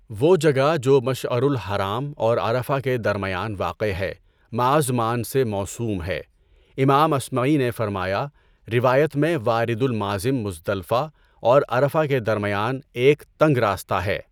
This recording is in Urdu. وہ جگہ جو مَشعَرُ الحرام اور عَرَفہ کے درمیان واقع ہے مأزمان سے موسوم ہے۔ امام اصمعی نے فرمایا روایت میں وارد المازم مزدلفہ اور عرفہ کے درمیان ایک تنگ راستہ ہے۔